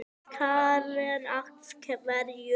Karen: Af hverju?